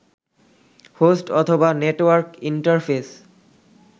host অথবা network interface